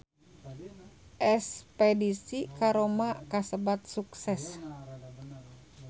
Espedisi ka Roma kasebat sukses